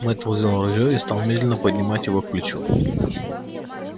мэтт взял ружье и стал медленно поднимать его к плечу